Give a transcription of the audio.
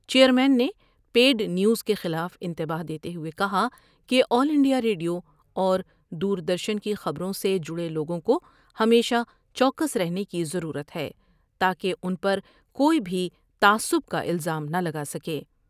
Chairman نے paid news کے خلاف انتباہ دیتے ہوئے کہا کہ آل انڈیا ریڈیواور دور درشن کی خبروں سے جڑے لوگوں کو ہمیشہ چوکس رہنے کی ضرورت ہے تا کہ ان پر کوئی بھی تعصب کا الزام نہ لگا سکے۔